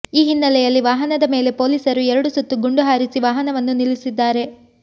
ಈ ಹಿನ್ನಲೆಯಲ್ಲಿ ವಾಹನದ ಮೇಲೆ ಪೋಲೀಸರು ಎರಡು ಸುತ್ತು ಗುಂಡು ಹಾರಿಸಿ ವಾಹನವನ್ನು ನಿಲ್ಲಿಸಿದ್ದಾರೆ